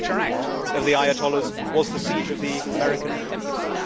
The signature act of the ayatollahs was the siege of the American Embassy.